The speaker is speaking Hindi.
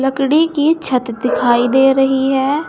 लकड़ी की छत दिखाई दे रही है।